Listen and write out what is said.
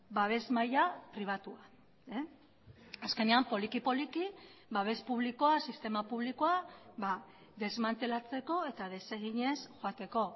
babes maila pribatua azkenean poliki poliki babes publikoa sistema publikoa desmantelatzeko eta deseginez joateko